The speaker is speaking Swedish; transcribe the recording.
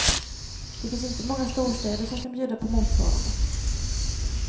Det finns inte många storstäder som kan bjuda på motsvarande.